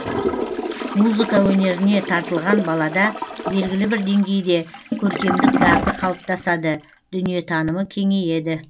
музыка өнеріне тартылған балада белгілі бір деңгейде көркемдік дағды қалыптасады дүниетанымы кеңейеді